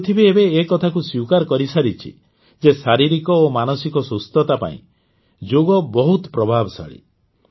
ପୃଥିବୀ ଏବେ ଏ କଥାକୁ ସ୍ୱୀକାର କରିସାରିଛି ଯେ ଶାରୀରିକ ଓ ମାନସିକ ସୁସ୍ଥତା ପାଇଁ ଯୋଗ ବହୁତ ବେଶି ପ୍ରଭାବଶାଳୀ